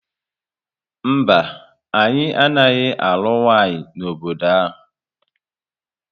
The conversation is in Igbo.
Mba, anyị anaghị alụ nwanyị n'obodo ahu